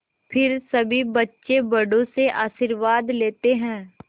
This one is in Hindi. फिर सभी बच्चे बड़ों से आशीर्वाद लेते हैं